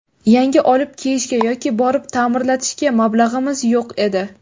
Yangi olib kiyishga yoki borib ta’mirlatishga mablag‘imiz yo‘q edi.